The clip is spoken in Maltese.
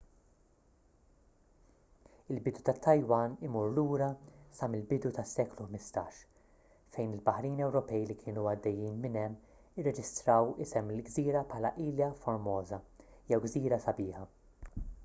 il-bidu tat-taiwan imur lura sa mill-bidu tas-seklu 15 fejn il-baħrin ewropej li kienu għaddejjin minn hemm irreġistraw isem il-gżira bħala ilha formosa jew gżira sabiħa